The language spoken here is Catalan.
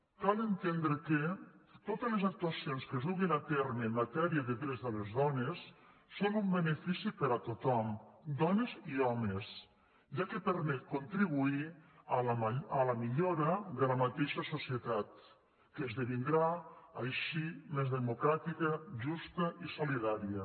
cal entendre que totes les actuacions que es duguin a terme en matèria de drets de les dones són un benefici per a tothom dones i homes ja que permet contribuir a la millora de la mateixa societat que esdevindrà així més democràtica justa i solidària